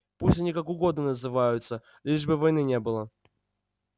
пусть они как угодно называются лишь бы войны не было